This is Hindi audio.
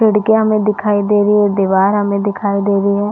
खिड़कियाँ हमें दिखाई दे रही है दिवार हमें दिखाई दे रही है।